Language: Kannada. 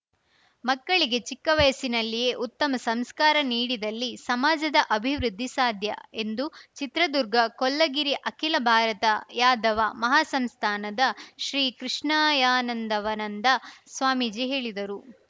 ಮಕ್ಕಳಿಗೆ ಚಿಕ್ಕ ವಯಸ್ಸಿನಲ್ಲಿಯೇ ಉತ್ತಮ ಸಂಸ್ಕಾರ ನೀಡಿದಲ್ಲಿ ಸಮಾಜದ ಅಭಿವೃದ್ಧಿ ಸಾಧ್ಯ ಎಂದು ಚಿತ್ರದುರ್ಗ ಕೊಲ್ಲಗಿರಿ ಅಖಿಲ ಭಾರತ ಯಾದವ ಮಹಾಸಂಸ್ಥಾನದ ಶ್ರೀಕೃಷ್ಣಯಾನಂದವನಂದ ಸ್ವಾಮೀಜಿ ಹೇಳಿದರು